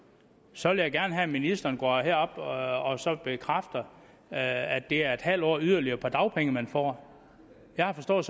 så vil jeg gerne have at ministeren går herop og bekræfter at det er en halv år yderligere på dagpenge man får jeg har forstået